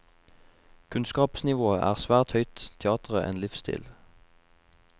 Kunnskapsnivået er svært høyt, teatret en livsstil.